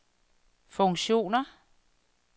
funktioner